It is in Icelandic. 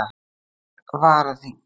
Tveir varaþingmenn